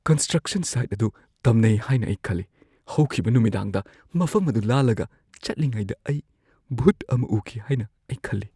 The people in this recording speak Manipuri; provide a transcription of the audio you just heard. ꯀꯟꯁꯇ꯭ꯔꯛꯁꯟ ꯁꯥꯏꯠ ꯑꯗꯨ ꯇꯝꯅꯩ ꯍꯥꯏꯅ ꯑꯩ ꯈꯜꯂꯤ꯫ ꯍꯧꯈꯤꯕ ꯅꯨꯃꯤꯗꯥꯡꯗ ꯃꯐꯝ ꯑꯗꯨ ꯂꯥꯜꯂꯒ ꯆꯠꯂꯤꯉꯩꯗ ꯑꯩ ꯚꯨꯠ ꯑꯃ ꯎꯈꯤ ꯍꯥꯏꯅ ꯑꯩ ꯈꯜꯂꯤ꯫